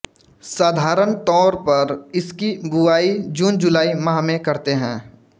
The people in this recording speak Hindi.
साधारण तौर पर इसकी बुवाई जूनजुलाई माह में करते हैं